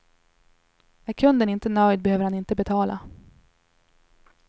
Är kunden inte nöjd behöver han inte betala.